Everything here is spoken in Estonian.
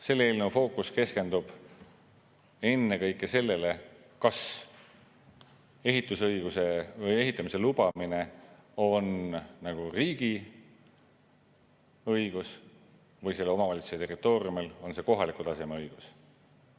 Selle eelnõu fookus keskendub ennekõike sellele, kas ehitamise lubamine on riigi õigus või omavalitsuse territooriumil on see kohaliku taseme õigus.